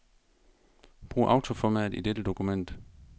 Brug autoformat i dette dokument.